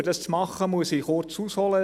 Um dies zu tun, muss ich kurz ausholen.